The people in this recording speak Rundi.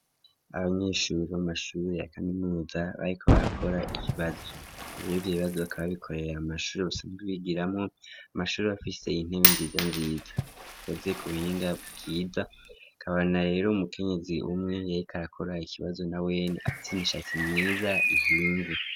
Abanyeshuri bo mumashuri ya kaminuza bariko bakora ikibazo ibevye ibibazo bakaba bikorera mumashuri basanzwe bigiramwo amashuri afise intebe nziza nziza ikoze kubuhinga bwiza ikaba na rero umukenyizi umwe yariko arakora ikibazo na wene afis' ishatsi myiza ihinze